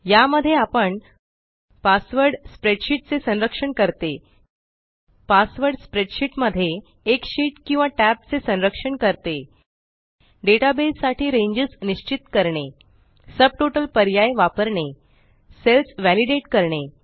या मध्ये आपण पासवर्ड स्प्रेडशीट चे संरक्षण करतेपासवर्ड स्प्रेडशीट मध्ये एक शीट किंवा टॅब चे संरक्षण करते डेटाबेस साठी रेंजस निश्चित करणे सब टोटल पर्याय वापरणे सेल्स वालिडेट करणे